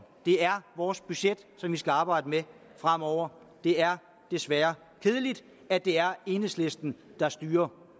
det er vores budget som vi skal arbejde med fremover og det er desværre kedeligt at det er enhedslisten der styrer